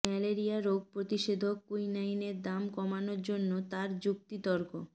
malaria রোগ প্রতিষধক কুইনাইনের দাম কমানোর জন্য তার যুক্তি তর্ক